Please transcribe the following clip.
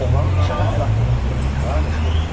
Oğlanın bıçağa əl atdığını görən Ka qışqırdı: